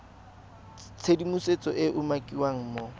tshedimosetso e e umakiwang mo